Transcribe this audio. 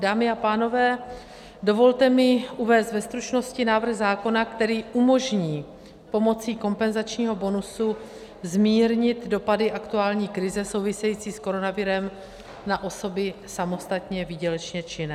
Dámy a pánové, dovolte mi uvést ve stručnosti návrh zákona, který umožní pomocí kompenzačního bonusu zmírnit dopady aktuální krize související s koronavirem na osoby samostatně výdělečně činné.